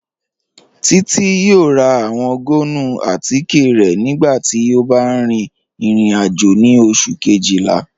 Títi yọ̀ọ̀ rà awọn gbọ̀nnù àtìké rẹ̀ nígbàtí ó bá rìn ìrìn-àjò ni Ọṣù̀ kejìlá.